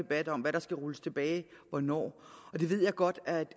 debat om hvad der skal rulles tilbage hvornår og det ved jeg godt at